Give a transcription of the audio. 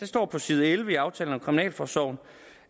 står på side elleve i aftalen om kriminalforsorgen